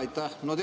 Aitäh!